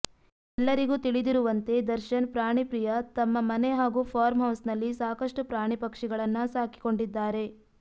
ಎಲ್ಲರಿಗೂ ತಿಳಿದಿರುವಂತೆ ದರ್ಶನ್ ಪ್ರಾಣಿ ಪ್ರಿಯ ತಮ್ಮ ಮನೆ ಹಾಗೂ ಫಾರ್ಮ್ ಹೌಸ್ ನಲ್ಲಿ ಸಾಕಷ್ಟು ಪ್ರಾಣಿ ಪಕ್ಷಿಗಳನ್ನ ಸಾಕಿಕೊಂಡಿದ್ದಾರೆ